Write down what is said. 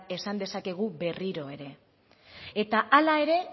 esan dezakegu berriro ere eta hala ere